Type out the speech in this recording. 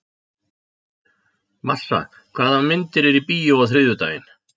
Marsa, hvaða myndir eru í bíó á þriðjudaginn?